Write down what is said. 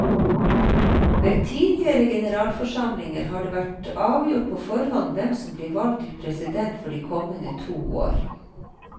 Ved tidligere generalforsamlinger har det vært avgjort på forhånd hvem som blir valgt til president for de kommende to år.